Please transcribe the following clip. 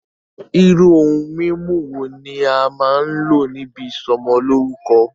Irú ohun mímu wo ní a máa n lò níbi ìsọmọlórúkọ́?